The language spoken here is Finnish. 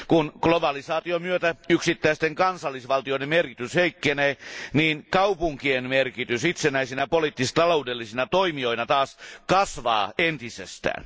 Kun globalisaation myötä yksittäisten kansallisvaltioiden merkitys heikkenee, niin kaupunkien merkitys itsenäisinä poliittis taloudellisina toimijoina taas kasvaa entisestään.